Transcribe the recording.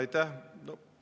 Aitäh!